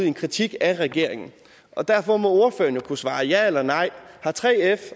en kritik af regeringen derfor må ordføreren jo kunne svare ja eller nej har 3f